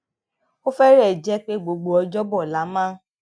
ó férèé jé pé gbogbo ọjóbọ la máa